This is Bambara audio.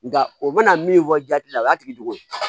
Nka o bɛna min fɔ jati la o y'a tigi dege